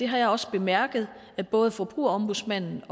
har jeg også bemærket at både forbrugerombudsmanden